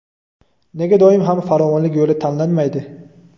Nega doim ham farovonlik yo‘li tanlanmaydi?.